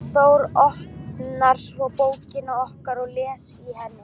Þór, opnar svo bókina okkar og les í henni.